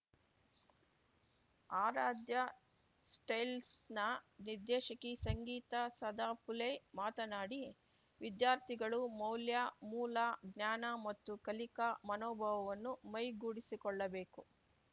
ಆರಾಧ್ಯ ಸ್ಟೀಲ್ಸ್‌ನ ನಿರ್ದೇಶಕಿ ಸಂಗೀತಾ ಸದಫುಲೆ ಮಾತನಾಡಿ ವಿದ್ಯಾರ್ಥಿಗಳು ಮೌಲ್ಯ ಮೂಲ ಜ್ಞಾನ ಮತ್ತು ಕಲಿಕಾ ಮನೋಭಾವನ್ನು ಮೈಗೂಡಿಸಿಕೊಳ್ಳಬೇಕು